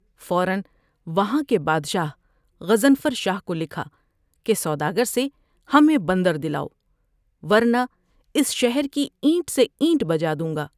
فورا وہاں کے بادشاہ غضنفر شاہ کولکھا کہ سودا گھر سے ہمیں بندر دلاؤ ورنہ اس شہر کی اینٹ سے اینٹ بجادوں گا ۔